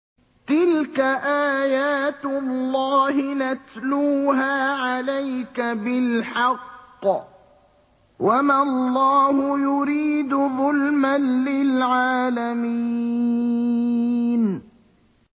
تِلْكَ آيَاتُ اللَّهِ نَتْلُوهَا عَلَيْكَ بِالْحَقِّ ۗ وَمَا اللَّهُ يُرِيدُ ظُلْمًا لِّلْعَالَمِينَ